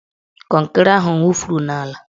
Kọnkịrị ahụ wufuru n'ala